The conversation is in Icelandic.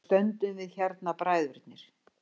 Þá stöndum við hérna bræðurnir.